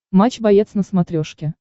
матч боец на смотрешке